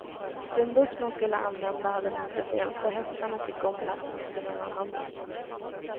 Den buss man skulle använda hade motorfel så hästarna fick omlastas till en annan buss.